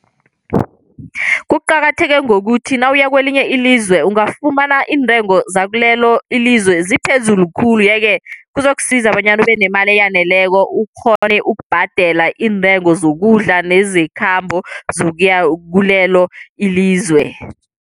Kuqakatheke ngokuthi nawuya kwelinye ilizwe ungafumana iintengo zakilelo ilizwe ziphezulu khulu, yeke kuzokusiza bonyana ubenemali eyaneleko ukghone ukubhadela iintengo zokudla nezekhambo zokuya kulelo ilizwe.